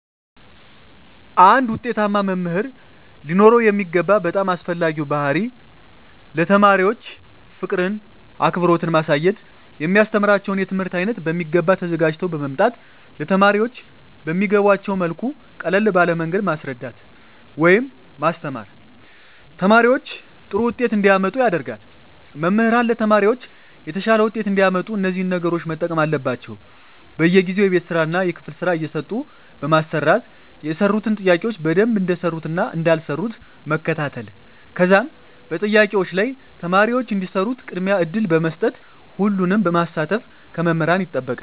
አንድ ዉጤታማ መምህር ሊኖረዉ የሚገባ በጣም አስፈላጊዉ ባህሪይ ለተማሪዎች ፍቅርን አክብሮትን ማሳየት የሚያስተምራቸዉን የትምህርት አይነት በሚገባ ተዘጋጅተዉ በመምጣት ለተማሪዎች በሚገቧቸዉ መልኩ ቀለል ባለ መንገድ ማስረዳት ወይም ማስተማር ተማሪዎች ጥሩ ዉጤት እንዲያመጡ ያደርጋል መምህራን ለተማሪዎች የተሻለ ዉጤት እንዲያመጡ እነዚህን ነገሮች መጠቀም አለባቸዉ በየጊዜዉ የቤት ስራእና የክፍል ስራ እየሰጡ በማሰራት የሰሩትን ጥያቄዎች በደንብ እንደሰሩትእና እንዳልሰሩት መከታተል ከዛም በጥያቄዎች ላይ ተማሪዎች እንዲሰሩት ቅድሚያ እድል በመስጠት ሁሉንም ማሳተፍ ከመምህራን ይጠበቃል